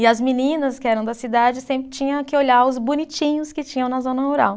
E as meninas que eram da cidade sempre tinha que olhar os bonitinhos que tinham na zona rural.